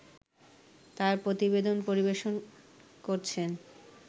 তার প্রতিবেদন পরিবেশন করছেন